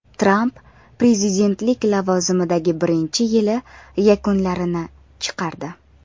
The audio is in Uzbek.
Tramp prezidentlik lavozimidagi birinchi yili yakunlarini chiqardi.